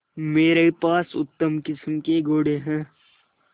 मेरे पास उत्तम किस्म के घोड़े हैं